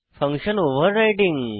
function overriding